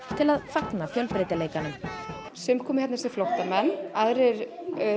til að fagna fjölbreytileikanum sum koma hingað sem flóttamenn aðrir